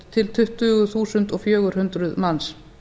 til tuttugu þúsund fjögur hundruð manns